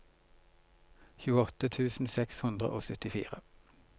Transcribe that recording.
tjueåtte tusen seks hundre og syttifire